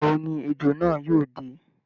Ìgbà wo ni ejò náà yóò dé?